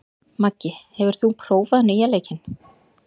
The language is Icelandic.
Maggi, hefur þú prófað nýja leikinn?